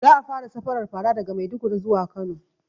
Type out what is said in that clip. Za a fara safarar fara daga maiduguri zuwa kano